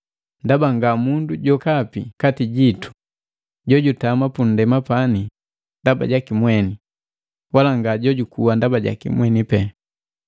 Ndaba nga mundu jokapi kati jitu jojutama punndema pani ndaba jaki mweni, wala nga jojukuwa ndaba jaki mweni pee.